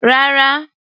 Rárá.